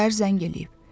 Səhər zəng eləyib.